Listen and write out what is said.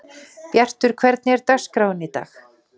Bjartur, hvernig er dagskráin í dag?